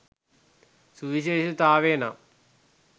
සුවිශේෂතාවය නම්